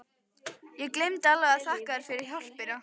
Ég gleymdi alveg að þakka þér fyrir hjálpina!